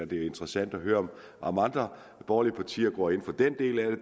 det er interessant at høre om andre borgerlige partier går ind for den del af